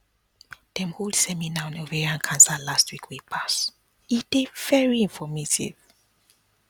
dem hold seminar on ovarian cancer last week wey pass e dey very informative